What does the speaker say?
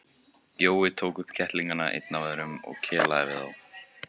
Jói tók upp kettlingana einn af öðrum og kelaði við þá.